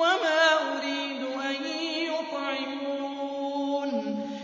وَمَا أُرِيدُ أَن يُطْعِمُونِ